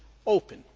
open.